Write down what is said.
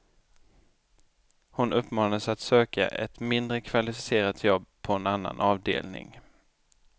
Hon uppmanades att söka ett mindre kvalificerat jobb på en annan avdelning.